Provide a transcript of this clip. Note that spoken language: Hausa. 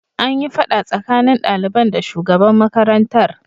An yi fada tsakanin daliban da shugaban makarantar.